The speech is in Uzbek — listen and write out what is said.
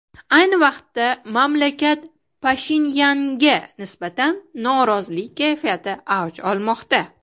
Ayni vaqtda mamlakat Pashinyanga nisbatan norozilik kayfiyati avj olmoqda.